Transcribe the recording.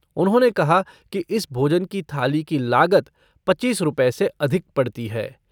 उन्होंने कहा कि इस भोजन की थाली की लागत पच्चीस रूपए से अधिक पड़ती है।